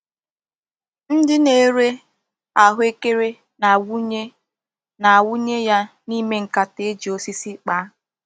Ndi na-ere ahuekere na-awunye na-awunye ya n'ime nkata e ji osisi kpaa.